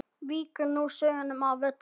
Víkur nú sögunni að Völlum.